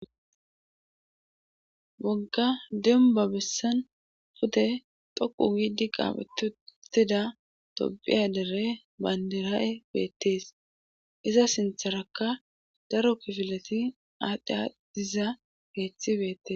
Wogga demba bessan pute toqu giidi qaafetutida tobiya dere bandira7e beettees iza sintharaka daro kifileti aadhdhia diza geethi beettes